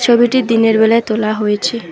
ছবিটি দিনের বেলায় তোলা হয়েছে।